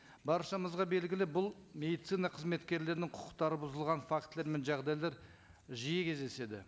баршамызға белгілі бұл медицина қызметкерлерінің құқықтары бұзылған фактілер мен жағдайлар жие кездеседі